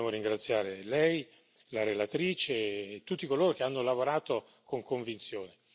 Di questo dobbiamo ringraziare Lei, la relatrice e tutti coloro che hanno lavorato con convinzione.